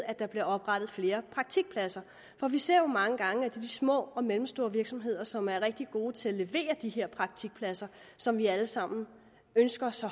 at der bliver oprettet flere praktikpladser for vi ser jo mange gange at det er de små og mellemstore virksomheder som er rigtig gode til at levere de her praktikpladser som vi alle sammen ønsker så